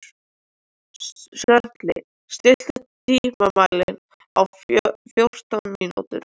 Sörli, stilltu tímamælinn á fjórtán mínútur.